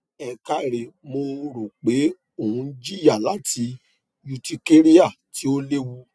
ẹ káre mo ro pe o n jiya lati urticaria ti o lewu